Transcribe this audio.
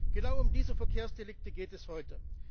Genau um diese Verkehrsdelikte geht es heute.